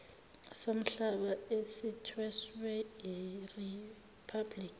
somhlaba esithweswe iriphablikhi